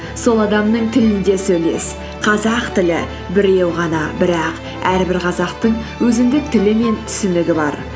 сол адамның тілінде сөйлес қазақ тілі біреу ғана бірақ әрбір қазақтың өзіндік тілі мен түсінігі бар